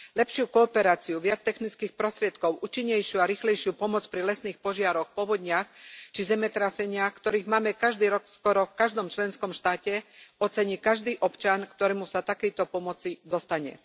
Lepšiu kooperáciu, viac technických prostriedkov, účinnejšiu a rýchlejšiu pomoc pri lesných požiaroch, povodniach či zemetraseniach, ktorých máme každý rok skoro v každom členskom štáte, ocení každý občan, ktorému sa takejto pomoci dostane.